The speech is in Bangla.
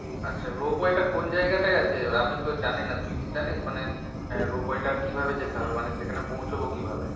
আচ্ছা rope way টা কোন জায়গাটায় আছে আমি তো জানি না তুই কি জানিস? মানে rope way টা কিভাবে যেতে হবে মানে সেখানে পৌঁছব কিভাবে?